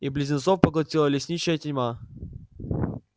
и близнецов поглотила лесничая тьма